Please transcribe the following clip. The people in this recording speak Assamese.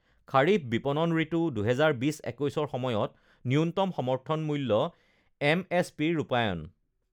খাৰিফ বিপণন ঋতু ২০২০ ২১ৰ সময়ত ন্যূনতম সমৰ্থন মূল্য এমএছপি ৰ ৰূপায়ণ